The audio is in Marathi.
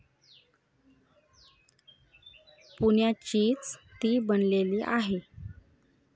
पुण्याचीच ती बनलेली आहे.